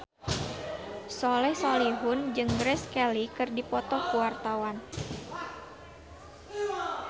Soleh Solihun jeung Grace Kelly keur dipoto ku wartawan